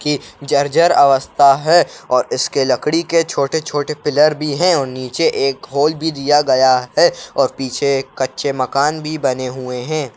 की जर्जर अवस्था है और इसके लकड़ी के छोटे छोटे पिलर बी हैं और नीचे एक होल बी दिया गया है। और पीछे एक कच्चे मकान बी बने हुए हैं।